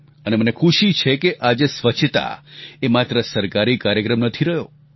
અને મને ખુશી છે કે આજે સ્વચ્છતા એ માત્ર સરકારી કાર્યક્રમ નથી રહ્યો